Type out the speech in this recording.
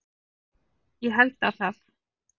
Ég held að það